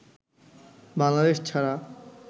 বাংলাদেশ ছাড়া